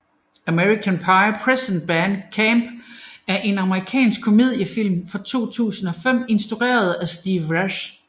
American Pie Presents Band Camp er en amerikansk komediefilm fra 2005 instrueret af Steve Rash